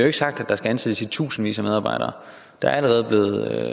ikke sagt at der skal ansættes i tusindvis af medarbejdere der er allerede